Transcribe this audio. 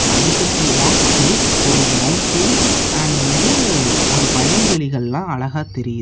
அதுக்கு பி back side ஒரு மௌண்டைன் அண்ட் வந்து ஒரு வயல்வெலிகலாம் அழகா தெரியுது.